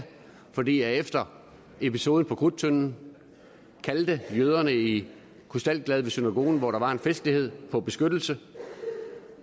fordi efter episoden på krudttønden kaldte jøderne i krystalgade ved synagogen hvor der var en festlighed på beskyttelse